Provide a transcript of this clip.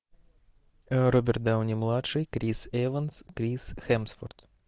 роберт дауни младший крис эванс крис хемсворт